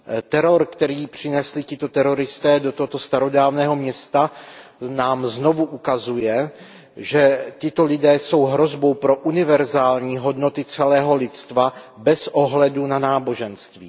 Teror, který přinesli tito teroristé do tohoto starodávného města, nám znovu ukazuje, že tito lidé jsou hrozbou pro univerzální hodnoty celého lidstva bez ohledu na náboženství.